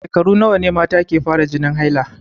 A shekaru nawa ne mata ke fara jinin haila.